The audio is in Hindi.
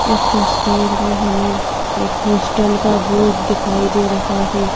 इस तस्वीर में हमें एक हॉस्टल का बोर्ड दिखाई दे रहा है।